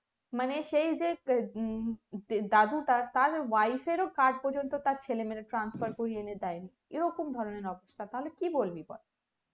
মানে সেই যে দাদু তার তার wife এর ও card পর্যন্ত তার ছেলে মেয়েদের transfer করিয়ে এনে দেয় এরকম ধরণের অবস্থা তাহলে কি বলবি বল